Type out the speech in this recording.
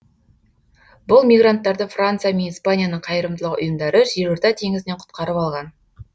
бұл мигранттарды франция мен испанияның қайырымдылық ұйымдары жерорта теңізінен құтқарып алған